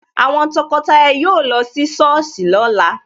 Àwọn tọkọtaya yóò lọ sí Sọ́ọ̀sì lóla